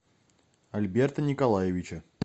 альберта николаевича